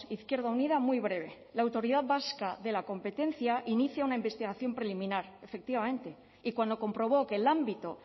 izquierda unida muy breve la autoridad vasca de la competencia inicia una investigación preliminar efectivamente y cuando comprobó que el ámbito